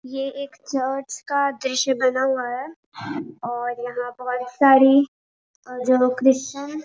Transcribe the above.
ये एक चर्च का दृश्य बना हुआ हैं और यहाँ बहुत सारी और जो क्रिस्चियन